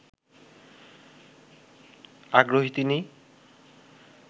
আগ্রহী তিনি